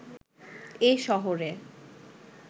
এ শহরে